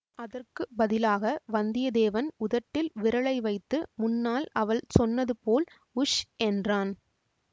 அதற்கு பதிலாக வந்தியத்தேவன் உதட்டில் விரலை வைத்து முன்னால் அவள் சொன்னது போல் உஷ் என்றான்